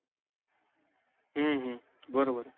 हम्म बरोबर आहे.